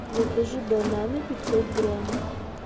закажи бананы пятьсот грамм